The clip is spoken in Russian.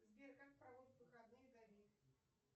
сбер как проводит выходные давид